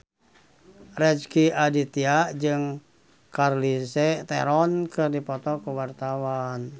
Rezky Aditya jeung Charlize Theron keur dipoto ku wartawan